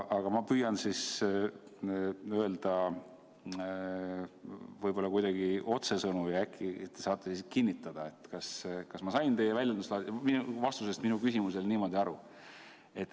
Aga ma püüan öelda kuidagi otsesõnu ja äkki te saate siis kinnitada, kas ma sain teie vastusest minu küsimusele õigesti aru.